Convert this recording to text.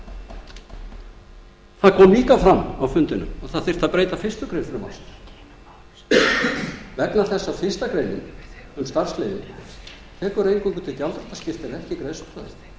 það kom líka fram á fundinum að breyta þyrfti fyrstu grein frumvarpsins vegna þess að fyrstu grein um starfsleyfið tekur eingöngu til gjaldþrotaskipta en ekki greiðslustöðvunar það